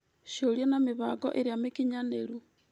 Cĩũria na mĩbango ĩrĩa mĩkinyanĩru.